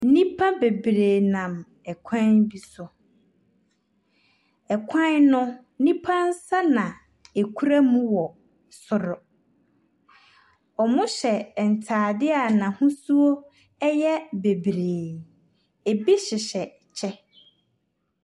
Nnipa bebree nam ɛkwan bi so. Ɛkwan no, nnipa nsa na ɛkura mu wɔ soro. Ɔmo hyɛ ntaade a n'ahosuo ɛyɛ bebree. Ɛbi hyehyɛ kyɛ.